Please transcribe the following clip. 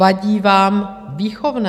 Vadí vám výchovné.